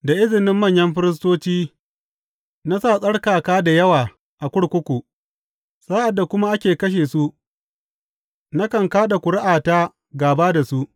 Da izinin manyan firistoci na sa tsarkaka da yawa a kurkuku, sa’ad da kuma ake kashe su, nakan ka da ƙuri’ata gāba da su.